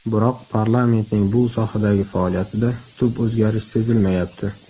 Biroq parlamentning bu sohadagi faoliyatida tub o‘zgarish sezilmayapti.